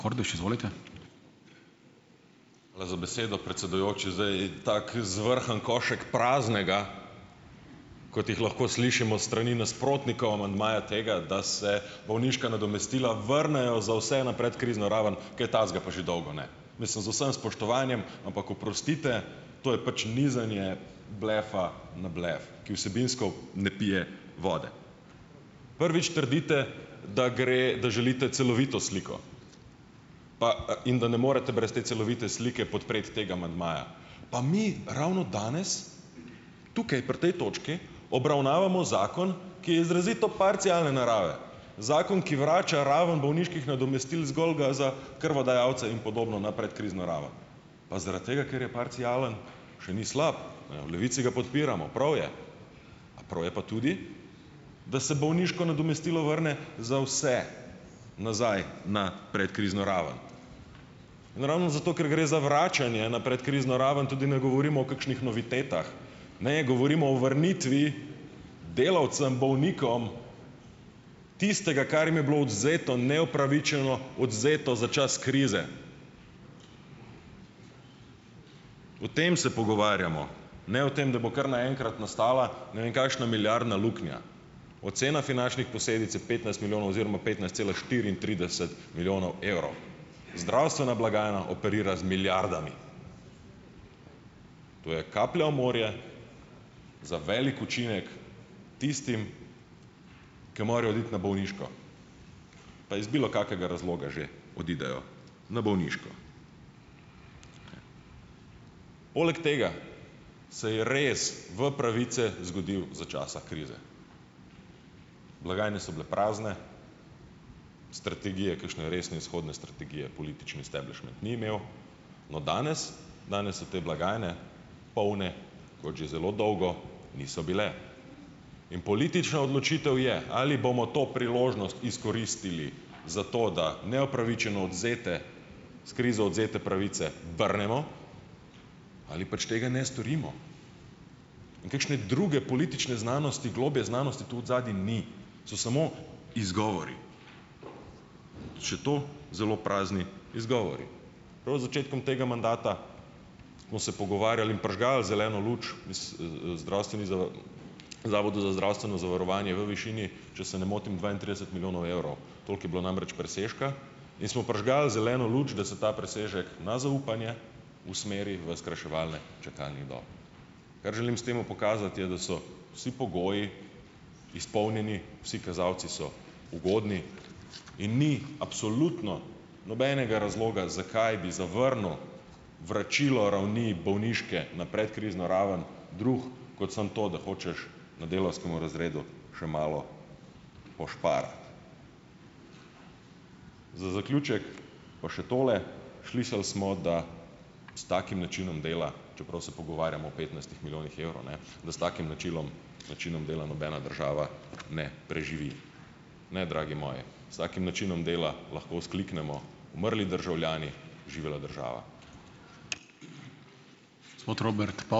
Hvala za besedo, predsedujoči. Zdaj tako zvrhan košek praznega, kot jih lahko slišimo s strani nasprotnikov amandmaja tega, da se bolniška nadomestila vrnejo za vse na predkrizno raven - kaj takega pa že dolgo ne. Mislim, z vsem spoštovanjem, ampak oprostite, to je pač nizanje "blefa" na "blef", ki vsebinsko ne pije vode. Prvič trdite, da gre, da želite celovito sliko pa, in da ne morete brez te celovite slike podpreti tega amandmaja. Pa mi ravno danes tukaj pri tej točki obravnavamo zakon, ki je izrazito parcialne narave. Zakon, ki vrača raven bolniških nadomestil zgolj ga za krvodajalce in podobno na predkrizno raven. Pa zaradi tega ker je parcialen, še ni slab. Ne. V Levici ga podpiramo, prav je, a prav je pa tudi, da se bolniško nadomestilo vrne za vse nazaj na predkrizno raven in ravno zato, ker gre za vračanje na predkrizno raven, tudi ne govorimo o kakšnih novitetah. ne. Govorimo o vrnitvi delavcem, bolnikom, tistega, kar jim je bilo odvzeto, neupravičeno odvzeto za čas krize. O tem se pogovarjamo. Ne o tem, da bo kar naenkrat nastala ne vem kakšna milijardna luknja. Ocena finančnih posledic je petnajst milijonov oziroma petnajst cela štiriintrideset milijonov evrov. Zdravstvena blagajna operira z milijardami. To je kaplja v morje za velik učinek tistim, ki morajo oditi na bolniško, pa iz bilokakega razloga že odidejo na bolniško, ne. Poleg tega, se je res v pravice zgodilo za časa krize. Blagajne so bile prazne. Strategije, kakšne resne izhodne strategije, politični esteblišment ni imel. No, danes, danes so te blagajne polne, kot že zelo dolgo niso bile, in politična odločitev je, ali bomo to priložnost izkoristili za to, da neupravičeno odvzete, s krizo odvzete pravice vrnemo ali pač tega ne storimo in kakšne druge politične znanosti, globlje znanosti tu odzadaj ni, so samo izgovori, še to zelo prazni izgovori. Prav z začetkom tega mandata smo se pogovarjali in prižgali zeleno luč zdravstveni Zavodu za zdravstveno zavarovanje v višini, če se ne motim, dvaintrideset milijonov evrov. Toliko je bilo namreč presežka in smo prižgali zeleno luč, da se ta presežek na zaupanje usmeri v skrajševanje čakalnih dob. Kar želim s tem pokazati, je, da so vsi pogoji izpolnjeni, vsi kazalci so ugodni in ni absolutno nobenega razloga, zakaj bi zavrnili vračilo ravni bolniške na predkrizno raven, drugi, kot samo to, da hočeš na delavskem razredu še malo "pošparati". Za zaključek pa še tole, slišali smo, da s takim načinom dela - čeprav se pogovarjamo o petnajstih milijonih evrov, ne - da s takim načinom način dela nobena država ne preživi. Ne, dragi moji, s takim načinom dela lahko vzkliknemo: "Umrli državljani, živela država!"